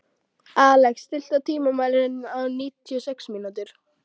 Alex, stilltu tímamælinn á níutíu og sex mínútur.